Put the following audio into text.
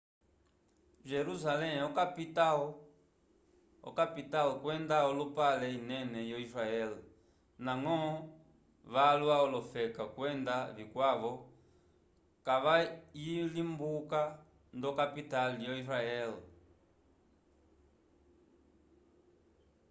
jerusalem okapital kwenda olupale inene yo-israel ndañgo valwa k'olofeka kwenda vikwavo kavayilimbuka ndo-kapital yo-israel